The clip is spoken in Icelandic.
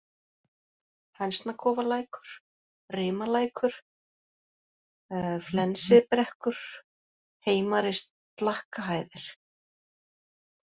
Hænsnakofalækur, Rimalækur, Flensibrekkur, Heimari-Slakkahæðir